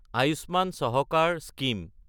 Ayushman Sahakar scheme